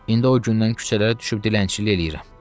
İndi o gündən küçələrə düşüb dilənçilik eləyirəm.